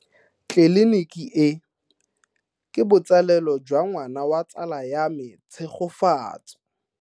Tleliniki e, ke botsalêlô jwa ngwana wa tsala ya me Tshegofatso.